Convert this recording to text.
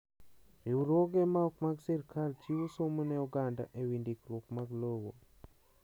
Riwruoge ma ok mag sirkal chiwo somo ne oganda e wi ndikruok mag lowo.